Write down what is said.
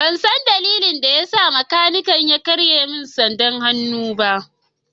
Ban san dalilin da ya sa makanikin ya karye min sandar hannuna ba.